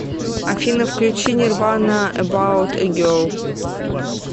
афина включи нирвана эбаут э герл